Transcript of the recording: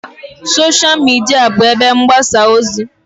Sosha Midia bụ ebe mgbasa ozi.